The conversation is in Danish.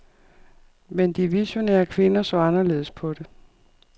Men de visionære kvinder så anderledes på det.